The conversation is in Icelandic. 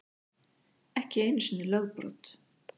Ekki einu sinni lögbrot.